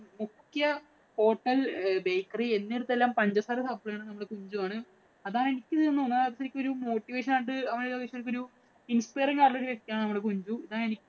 മുഖ്യ hotel, bakery എന്നിവടത്തെല്ലാം പഞ്ചസാര supply ചെയ്യുന്നത് കുഞ്ചുവാണ്. അതാ എനിക്ക് ഒരു motivation ആയിട്ട് അവന്‍റെ business ഒരു inspiring ആയിട്ടുള്ള വ്യക്തിയാണ് കുഞ്ചു.